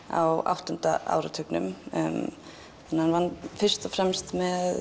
á áttunda áratugnum hann vann fyrst og fremst með